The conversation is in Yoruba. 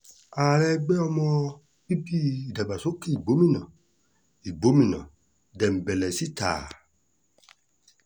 ààrẹ ẹgbẹ́ ọmọ bíbí ìdàgbàsókè ìgbòmínà igbómìnà dembelesítà a